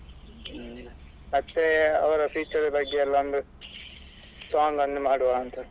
ಹ್ಮ್ ಮತ್ತೆ ಅವರ future ಬಗ್ಗೆ ಎಲ್ಲ ಒಂದು song ಅನ್ನು ಮಾಡುವ ಅಂತ.